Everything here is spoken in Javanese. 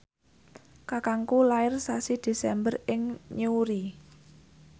kakangku lair sasi Desember ing Newry